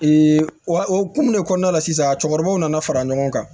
wa o hokumun de kɔnɔna la sisan a cɛkɔrɔbaw nana fara ɲɔgɔn kan